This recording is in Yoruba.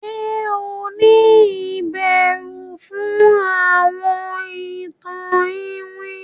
Ṣe o ni ìbẹrù fún àwọn ìtàn iwin?